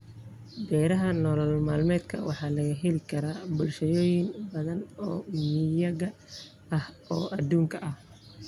Beeraha nolol-maalmeedka waxaa laga heli karaa bulshooyin badan oo miyiga ah oo adduunka ah.